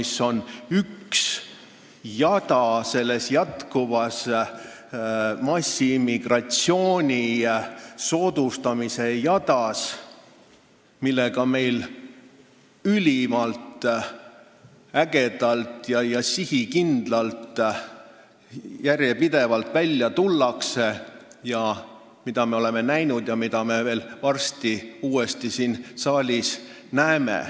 See on üks lüli massiimmigratsiooni soodustamise jadas, millega meil ülimalt ägedalt, sihikindlalt ja järjepidevalt välja tullakse, mida me oleme näinud ja mida me varsti siin saalis uuesti näeme.